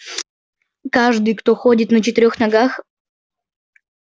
каждый кто ходит на четырёх ногах